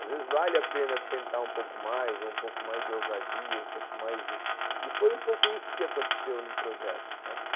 Às vezes vale a pena tentar um pouco mais, ou um pouco mais de ousadia, um pouco mais de... E foi um pouco isso que aconteceu no projeto, né